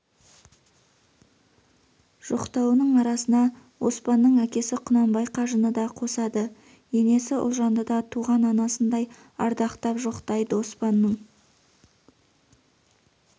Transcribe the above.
жоқтауының арасына оспанның әкесі құнанбай қажыны да қосады енесі ұлжанды да туған анасындай ардақтап жоқтайды оспанның